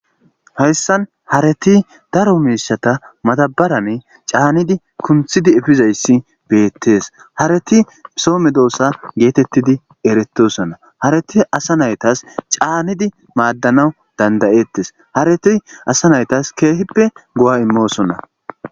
hayssan hareti daro miishata matabarane caanidi kunthidi efizayssi bettees hareti soo me doomsa geetettidi eretosonna hareti asa naytas caanidi maaddanawu dandayettes haretiy asa naytas keehippe go7a imosonna